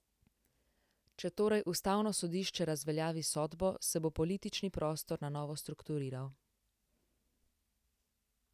Če torej Ustavno sodišče razveljavi sodbo, se bo politični prostor na novo strukturiral.